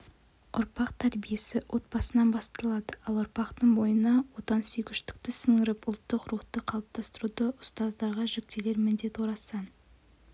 ұрпақ тәрбиесі отбасынан басталады ал ұрпақтың бойына отансүйгіштікті сіңіріп ұлттық рухты қалыптастыруда ұзтаздарға жүктелер міндет орасан